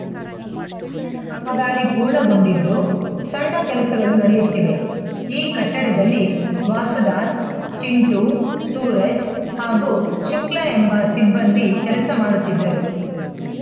ಕಾಮಗಾರಿ ಪೂರ್ಣಗೊಂಡಿದ್ದು ಸಣ್ಣ ಕೆಲಸಗಳು ನಡೆಯುತ್ತಿವೆ ಈ ಕಟ್ಟಡದಲ್ಲಿ ವಾಸುದಾಸ್‌ ಚಿಂಟೂ ಸೂರಜ್‌ ಹಾಗೂ ಶುಕ್ಲ ಎಂಬ ಸಿಬ್ಬಂದಿ ಕೆಲಸ ಮಾಡುತ್ತಿದ್ದರು